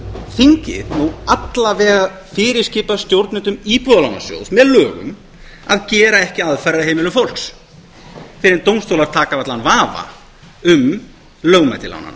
þingið alla vega fyrirskipað stjórnendum íbúðalánasjóðs með lögum að gera ekki aðfarir að heimilum fólks fyrr en dómstólar taka af allan vafa um lögmæti lánanna